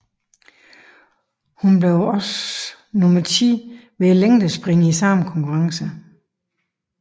Hun blev også nummer 10 ved længdespring i samme konkurrence